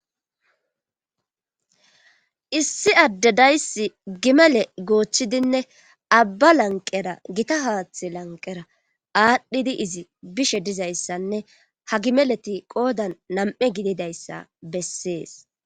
Issi adde dayssi gimele goochchidinne abba lanqera gita haaththe lanqera aadhdhidi izi bishe dizayssanne ha gimeleti qoodan nam7e gididayssa bessees.